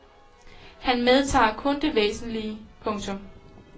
Han medtager kun det væsentlige. punktum